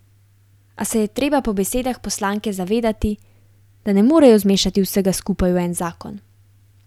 A se je treba po besedah poslanke zavedati, da ne morejo zmešati vsega skupaj v en zakon.